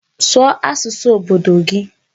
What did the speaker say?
Sụọ asụsụ obodo gị!